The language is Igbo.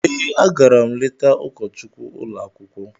Ee, agara m leta ụkọchukwu ụlọ akwụkwọ.